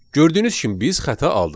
Gördüyünüz kimi biz xəta aldıq.